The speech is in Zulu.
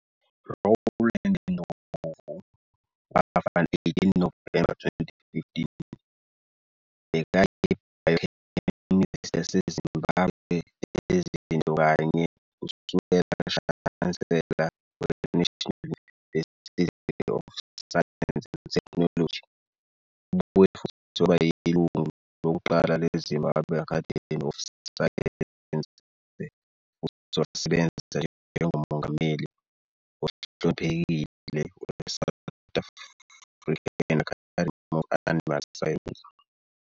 Rowland Ndlovu, wafa 18 Novemba 2015, bekayi-Biochemist yade Zimbabwe ezinto kanye Usekela-Shansela we -National University of Science and Technology Ubuye futhi waba yilungu lokuqala leZimbabwe Academy of Science futhi wasebenza njengoMongameli ohloniphekile weSouth African Academy of Animal Science.